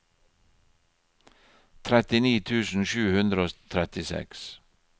trettini tusen sju hundre og trettiseks